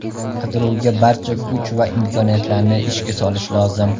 Qidiruvga barcha kuch va imkoniyatlarni ishga solish lozim.